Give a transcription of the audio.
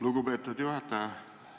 Lugupeetud juhataja!